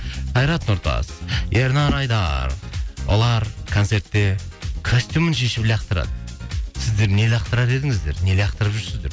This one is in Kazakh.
қайрат нұртас ернар айдар олар концертте костюмін шешіп лақтырады сіздер не лақтырар едіңіздер не лақтырып жүрсіздер